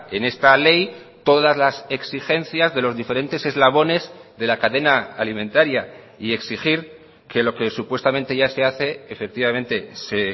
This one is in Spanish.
en esta ley todas las exigencias de los diferentes eslabones de la cadena alimentaria y exigir que lo que supuestamente ya se hace efectivamente se